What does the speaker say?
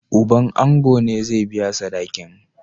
Uban ango ne zai biya sadakin.